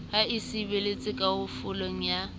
ha e sebetse kalafong ya